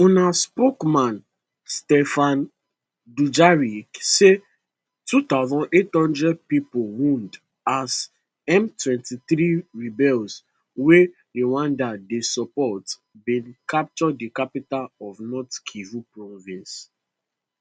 un spokesman stphane dujarric say 2800 pipo wound as m23 rebels wey rwanda dey support bin capture di capital of north kivu province